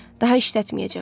Daha işlətməyəcəm.